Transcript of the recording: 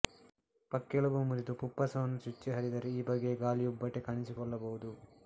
ಪಕ್ಕೆಲುಬು ಮುರಿದು ಫುಪ್ಪಸವನ್ನು ಚುಚ್ಚಿ ಹರಿದರೆ ಈ ಬಗೆಯ ಗಾಳಿಯುಬ್ಬಟೆ ಕಾಣಿಸಿಕೊಳ್ಳಬಹುದು